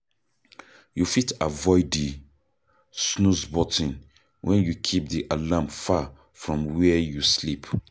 You fit avoid di snooze button when you keep di alarm far from where you sleep